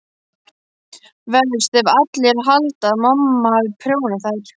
Verst ef allir halda að mamma hafi prjónað þær.